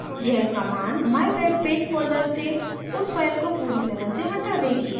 यह command mywebpage folder से उस file को पूरी तरह से हटा देगी